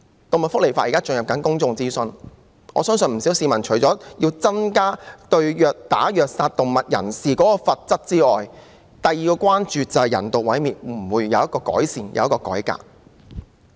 動物福利法正進行公眾諮詢，我相信不少市民除了要求增加對虐打及虐殺動物者的罰則外，另一關注事項便是人道毀滅的問題會否有改善和改革。